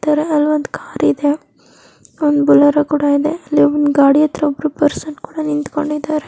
ಹಾಕಿದರೆ-- ಅಲ್ಲಾವೊಂದು ಕಾರ್ ಇದೆ ಒಂದು ಬುಲೋರೋ ಕೂಡ ಇದೆ.ಇಲ್ಲಿ ಗಾಡಿ ಹತ್ತಿರ ಒಬ್ಬರು ಪರ್ಸನ್ ಕೂಡ ನಿಂತ್ಕೊಂಡಿದ್ದಾರೆ .